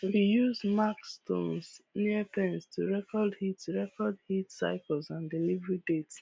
we use marked stones near pens to record heat record heat cycles and delivery dates